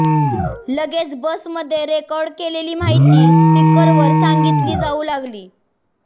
लगेच बस मध्ये रेकॉर्ड केलेली माहिती स्पीकर वर सांगितली जाऊ लागली